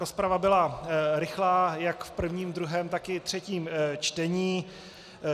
Rozprava byla rychlá jak v prvním, druhém, tak i třetím čtení.